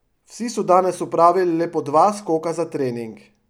Vsi so danes opravili le po dva skoka za trening.